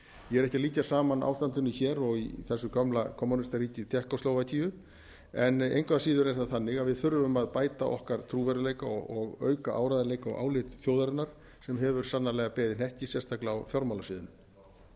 ég er ekki að líkja saman ástandinu hér og í þessu gamla kommúnistaríki tékkóslóvakíu en engu að síður er það þannig að við þurfum að bæta okkar trúverðugleika og auka áreiðanleika og álit þjóðarinnar sem hefur sannarlega beðið hnekki sérstaklega á fjármálasviðinu svo